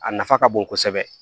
A nafa ka bon kosɛbɛ